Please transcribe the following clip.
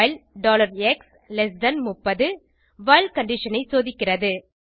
while x30 while condition ஐ சோதிக்கிறது